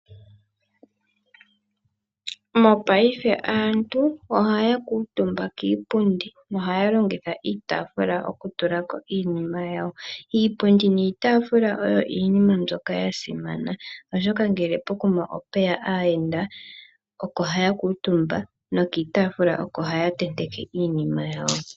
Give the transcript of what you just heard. Mopayife aantu ohaya kuutumba kiipundi no haya longitha no haya longitha iitafula oku tulako iinima yawo. Iipundi niitafula oyo iinima mbyoka ya simana oshoka ngele opweya aayenda oko haya kuutumba nokiitaafula oko haya tenteke iinima yawo.